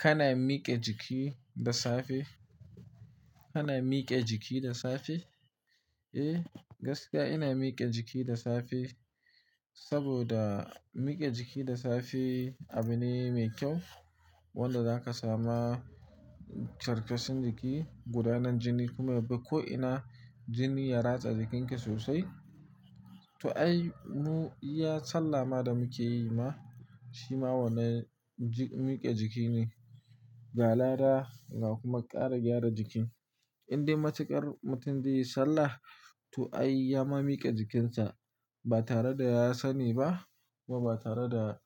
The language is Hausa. Kana mike jiki da safe? Kana mike jiki da safe? Eh, gaskiya ina mike jiki da safe, saboda mike jiki da safe abune mai kyau wanda zaka samu karsashin jiki, gudanar jini kuma ya bi ko'ina, jini ya ratsa jikinka sosai. To ai, mu iya sallah ma da muke yi ma, shi ma wani mike jiki ne. Ga lada da kuma ƙara gyara jikin. Indai matukar mutum zaiyi sallah to ai ya ma mike jikinsa ba tare da ya sani ba kuma ba tare da